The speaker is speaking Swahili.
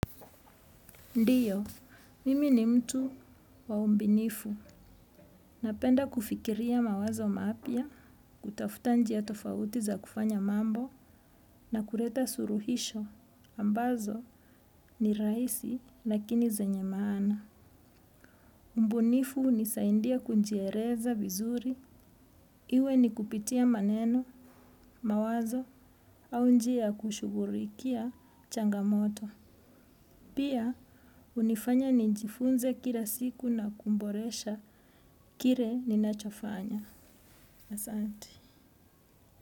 Ndiyo, mimi ni mtu waumbinifu. Napenda kufikiria mawazo mapya, kutafuta njia tofauti za kufanya mambo na kuleta suluhisho. Ambazo ni rahisi lakini zenye maana. Mbunifu nisaide kujieleza vizuri. Iwe ni kupitia maneno, mawazo au njia kushugulikia changamoto. Pia, hunifanya nijifunze kila siku na kuboresha kile ninachofanya.